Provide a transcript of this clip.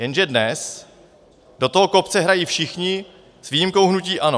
Jenže dnes do toho kopce hrají všichni s výjimkou hnutí ANO.